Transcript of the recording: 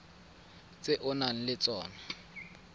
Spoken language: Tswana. tse o nang le tsona